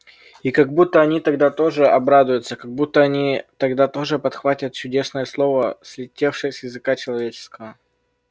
и как будто они тогда тоже обрадуются как будто они тогда тоже подхватят чудесное слово слетевшее с языка человеческого